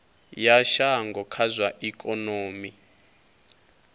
ya shango kha zwa ikonomi